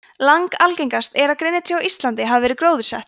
langalgengast er að grenitré á íslandi hafi verið gróðursett